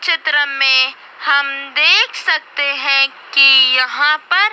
चित्र में हम देख सकते हैं कि यहां पर--